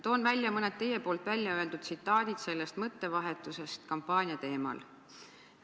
Toon ära mõned teie väljaöeldud tsitaadid sellest mõttevahetusest kampaania teemal.